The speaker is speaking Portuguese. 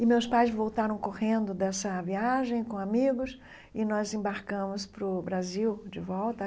E meus pais voltaram correndo dessa viagem, com amigos, e nós embarcamos para o Brasil, de volta.